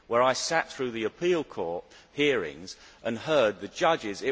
I sat through the appeal court hearings and heard the judges.